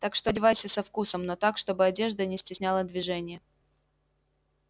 так что одевайся со вкусом но так чтобы одежда не стесняла движение